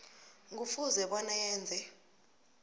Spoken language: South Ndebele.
kufuze bona yenze